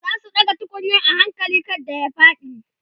zasu ɗaga tukunyar a hakali kada ya faɗi